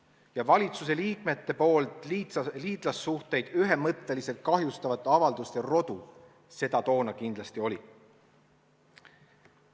Ja valitsuse liikmete tehtud liitlassuhteid ühemõtteliselt kahjustavate avalduste rodu seda toona kindlasti oli.